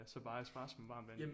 Ja så bare espresso med varmt vand